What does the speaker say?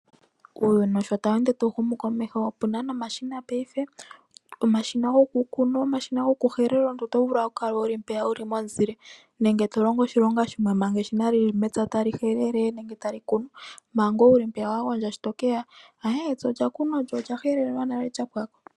Uuyuni sho tawu ende tawu humu komeho, opuna nomashina paife, omashina goku kuna, omashina goku helela. Omuntu oto vulu owala oku kala wu li mpeya, wu li momuzile nenge to longo oshilonga shimwe manga eshina lyili mepya ta li helele nenge ta li kunu manga ngoye wu li mpeya , sho to keya , ayee epya olya kunwa, olyo olya helelwa nale lya pwako.